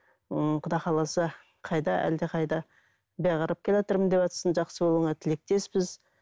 ыыы құда қаласа қайда әлдеқайда бері қарап келеатырмын деватсың жақсы болуыңа тілектеспіз